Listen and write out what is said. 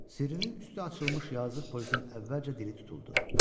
Sirrinin üstü açılmış yazıq polisin əvvəlcə dili tutuldu.